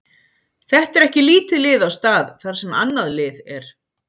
Þetta er ekki lítið lið á stað þar sem annað lið er.